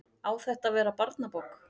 Á þetta að verða barnabók?